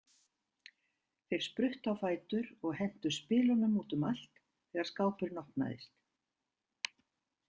Þeir spruttu á fætur og hentu spilunum út um allt þegar skápurinn opnaðist.